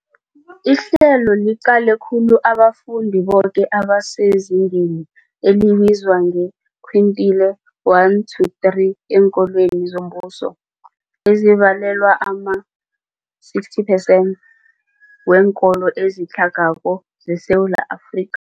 Ihlelo liqale khulu abafundi boke abasezingeni elibizwa nge-quintile 1-3 eenkolweni zombuso, ezibalelwa ema-60 percent weenkolo ezitlhagako zeSewula Afrika.